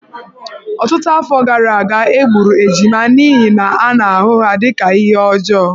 Ọtụtụ afọ gara aga, e gburu ejima n’ihi na a na-ahụ ha dị ka ihe ọjọọ.